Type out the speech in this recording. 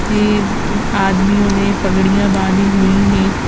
तीन आदमियों ने पगड़ियां बांधी हुई हैं।